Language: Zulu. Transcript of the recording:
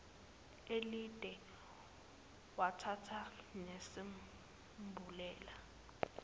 elide wathatha nesambulela